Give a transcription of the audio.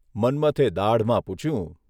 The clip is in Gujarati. મન્મથે દાઢમાં પૂછ્યું.